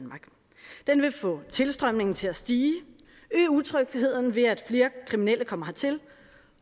vil få tilstrømningen til at stige øge utrygheden ved at flere kriminelle kommer hertil